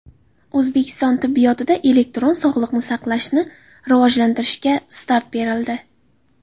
O‘zbekiston tibbiyotida elektron sog‘liqni saqlashni rivojlantirishga start berildi.